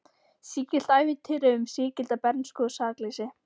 Sígilt ævintýri um sígilda bernsku og sakleysi.